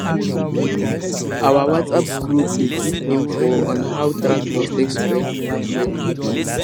our whatsapp group dey give info on how tractor take spoil and when fuel dey